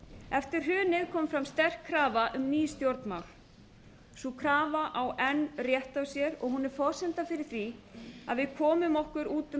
eftir hrunið kom sterk krafa um ný stjórnmál sú krafa á enn rétt á sér og hún er forsenda fyrir því að við komum okkur út úr